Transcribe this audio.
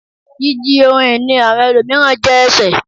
Jíjí ohun ìní àwọn ẹlòmíràn je ẹsẹ